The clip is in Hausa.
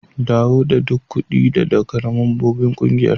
Dawo da duk kudi da ka daga membobin ƙungiyar.